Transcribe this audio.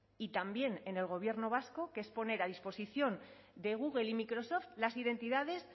y también en el gobierno vasco que es poner a disposición de google y microsoft las identidades